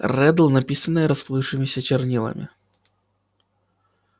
реддл написанное расплывшимися чернилами